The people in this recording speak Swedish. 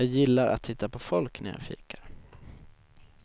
Jag gillar att titta på folk när jag fikar.